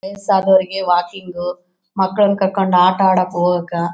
ವಯಸ್ಸು ಆದರಿಗೆ ವಾಕಿಂಗ್ ಮಕ್ಕಳನ್ನು ಕರ್ಕೊಂಡು ಆಟ ಆಡೋಕ್ಕೆ ಹೋಗಾಕ್ಕ --